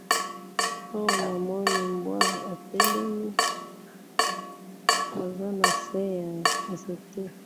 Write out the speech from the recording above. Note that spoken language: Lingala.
oyo namoni mbwa atelemi azana se ya nzete